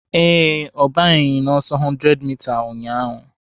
Ee, ọ banyeghị n'ọsọ 100m ụnyahụ